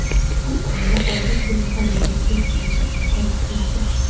Bu oila oldin shu mahalladagi eski uyda istiqomat qilar edi.